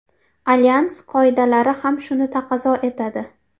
Alyans qoidalari ham shuni taqozo etadi.